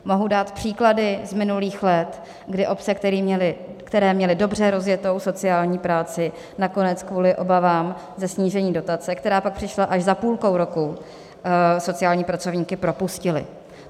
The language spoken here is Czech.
Mohu dát příklady z minulých let, kdy obce, které měly dobře rozjetou sociální práci, nakonec kvůli obavám ze snížení dotace, která pak přišla až za půlkou roku, sociální pracovníky propustily.